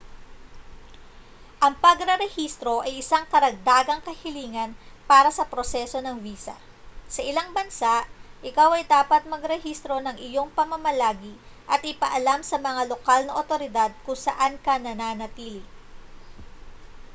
ang pagrerehistro ay isang karagdagang kahilingan para sa proseso ng visa sa ilang bansa ikaw ay dapat magrehistro ng iyong pamamalagi at ipaalam sa mga lokal na awtoridad kung saan ka nananatili